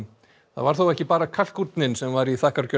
það var þó ekki bara kalkúnninn sem var í